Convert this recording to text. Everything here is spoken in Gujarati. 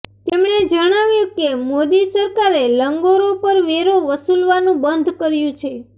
તેમણે જણાવ્યું કે મોદી સરકારે લંગરો પર વેરો વસુલવાનું બંધ કર્યું છે